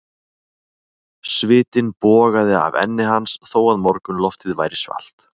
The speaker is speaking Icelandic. Svitinn bogaði af enni hans þó að morgunloftið væri svalt.